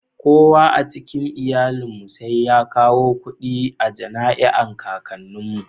Kowa a cikin iyalin mu sai ya kawo kudi a janai'an kakannin mu.